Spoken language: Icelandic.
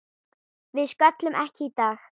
Við sköllum ekki í dag!